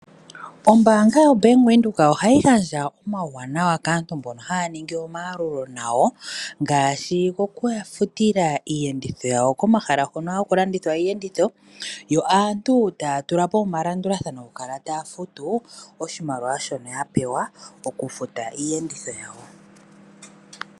Ombaanga yoBank Windhoek ohayi gandja omauwanawa kaantu mbono haya ningi omayalulo gawo , ngaashi okuyafutila iiyenditho yawo komahala hono haku landithwa iiyenditho, yo aantu taa tulapo omalandulathano gokukala taa futu oshimaliwa shono ya pewa okufuta iiyenditho yawo.